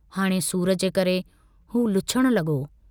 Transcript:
हाणे सूर जे करे हू लुछण लगो।